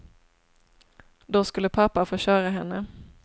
Då skulle pappa få köra henne.